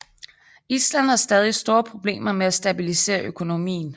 Island har stadig store problemer med at stabilisere økonomien